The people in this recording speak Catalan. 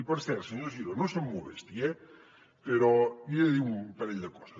i per cert senyor giró no se’m molesti eh però li he de dir un parell de coses